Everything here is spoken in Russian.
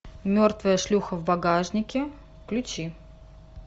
мертвая шлюха в багажнике включи